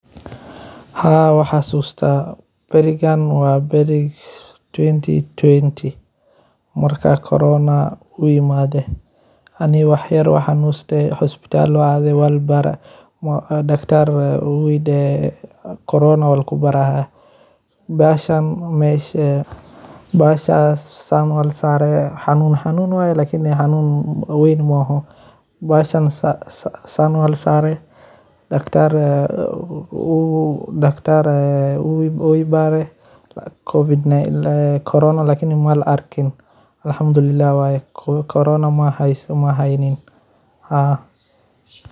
Haa waan xasuustah barikan wa bariki towanti towanti marka corona uyimada aniga wax yar wan xanusta isbatal wan ada wa libari dactar wuxu idahay corona aya laga bariya, mahashan masha bahashas sarayo xanun xanunwaya lkn xanun waan mahaho bahashan saan wa la sari, dacter dacter uu ibari carona malaha markin alahamdulillah waya kuwa corona mahaynin haa.